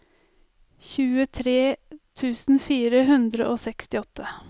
tjuetre tusen fire hundre og sekstiåtte